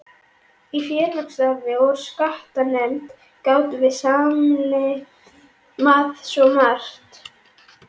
Í félagsstarfi og skattanefnd gátum við sameinað svo margt.